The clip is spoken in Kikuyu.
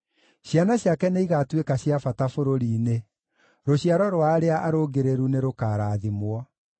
Ciana ciake nĩigatuĩka cia bata bũrũri-inĩ; rũciaro rwa arĩa arũngĩrĩru nĩrũkarathimwo.